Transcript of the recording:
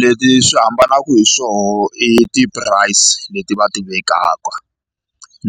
Leti swi hambanaka hi swoho i ti-price leti va ti vekaka